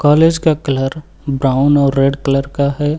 Palace का colour brown और red colour का है।